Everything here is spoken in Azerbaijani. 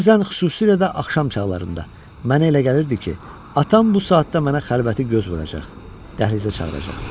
Bəzən xüsusilə də axşam çağlarında mənə elə gəlirdi ki, atam bu saatda mənə xəlvəti göz vuracaq, dəhlizə çağıracaq.